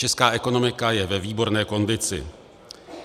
Česká ekonomika je ve výborné kondici.